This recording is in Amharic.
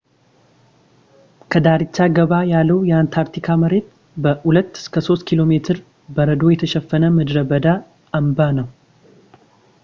ከዳርቻ ገባ ያለው የአንታርክቲካ መሬት በ 2-3 ኪሜ በረዶ የተሸፈነ ምድረ በዳ አምባ ነው